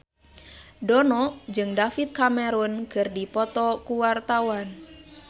Dono jeung David Cameron keur dipoto ku wartawan